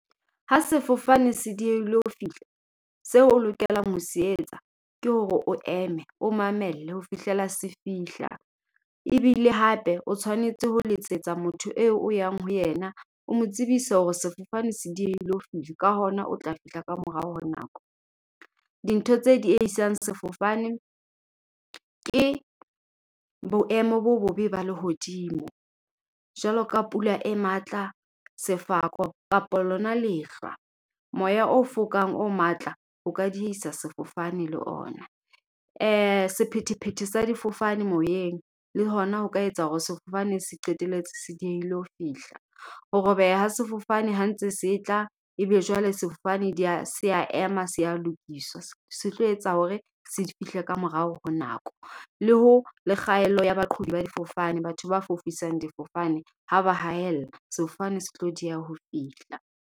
Ha sefofane se diehile ho fihla. Seo o lokelang ho se etsa. Ke hore o eme, o mamelle, ho fihlela se fihla. Ebile hape o tshwanetse ho letsetsa motho eo o yang ho yena, o mo tsebise hore sefofane se diehile ho fihla, ka hona o tla fihla ka morao ho nako. Dintho tse diehisang sefofane, ke boemo bo bobe ba lehodimo. Jwaloka pula e matla, sefako, kapa lona lehlwa. Moya o fokang o matla, o ka diehisa sefofane le ona. Sephethephethe sa difofane moyeng. Le hona ho ka etsa hore sefofane se qetelletse se diehile ho fihla. Ho robeha ha sefofane ha ntse se tla. Ebe jwale sefofane se a ema, se a lokiswa. Se tlo etsa hore, se fihle ka morao ho nako. Le ho, le kgaello ya baqhobi ba difofane. Batho ba fofisang difofane ha ba hahella, sefofane se tlo dieha ho fihla.